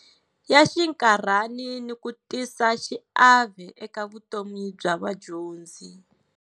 Ya xinkarhani ni ku tisa xiave eka vutomi bya vadyondzi.